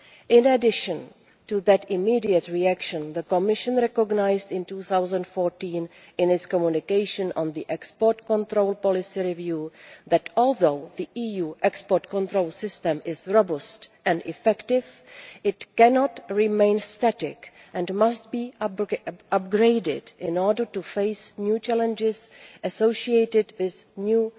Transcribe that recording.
In addition to that immediate reaction, the Commission recognised in 2014, in its communication on the export control policy review, that although the EU export control system is robust and effective, it cannot remain static and must be upgraded in order to face new challenges associated with new